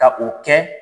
Ka o kɛ